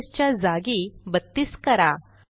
42 च्या जागी 32 करा